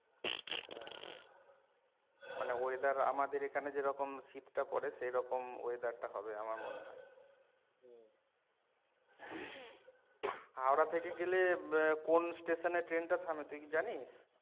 মানে weather আমাদের এখানে যেরকম শীত টা পরে সেরকম weather টা হবে আমার মনে হয় হাওড়া থেকে গেলে কোন station এ ট্রেন টা থামে তুই কি জানিস?